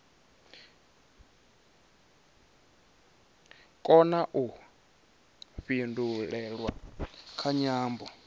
kona u pindulelwa kha nyambo